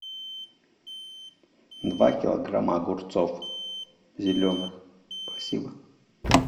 два килограмма огурцов зеленых спасибо